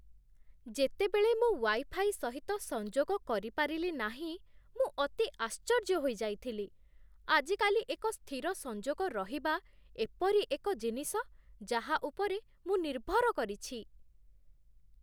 ଯେତେବେଳେ ମୁଁ ୱାଇଫାଇ ସହିତ ସଂଯୋଗ କରିପାରିଲି ନାହିଁ, ମୁଁ ଅତି ଆଶ୍ଚର୍ଯ୍ୟ ହୋଇଯାଇଥିଲି। ଆଜିକାଲି, ଏକ ସ୍ଥିର ସଂଯୋଗ ରହିବା ଏପରି ଏକ ଜିନିଷ ଯାହା ଉପରେ ମୁଁ ନିର୍ଭର କରିଛି।